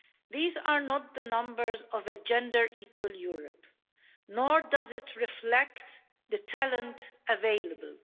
These are not the numbers of a gender equal Europe, nor does it reflect the talent available.